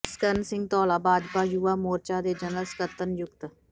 ਜਸਕਰਨ ਸਿੰਘ ਧੌਲਾ ਭਾਜਪਾ ਯੁਵਾ ਮੋਰਚਾ ਦੇ ਜਰਨਲ ਸਕੱਤਰ ਨਿਯੁਕਤ